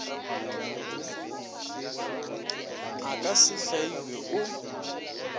a ka se hlaiwe o